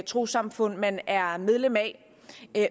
trossamfund man er medlem af